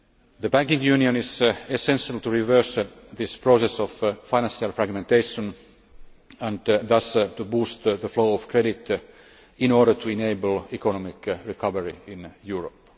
The banking union is essential to reverse this process of financial fragmentation and thus to boost the flow of credit in order to enable economic recovery in Europe.